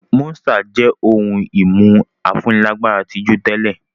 Monster jẹ́ ohun-ìmu afúnilágbára tí jù tẹ́lẹ̀.